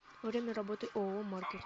время работы ооо маркет